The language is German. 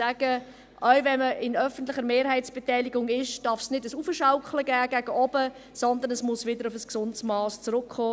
Auch wenn man in öffentlicher Mehrheitsbeteiligung ist, darf es kein Hinaufschaukeln gegen oben geben, sondern es muss wieder auf ein gesundes Mass zurückkommen.